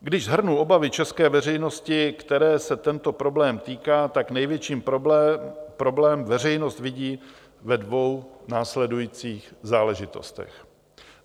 Když shrnu obavy české veřejnosti, které se tento problém týká, tak největší problém veřejnost vidí ve dvou následujících záležitostech.